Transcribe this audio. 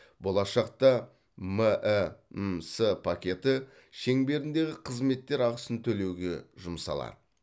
болашақта мәмс пакеті шеңберіндегі қызметтер ақысын төлеуге жұмсалады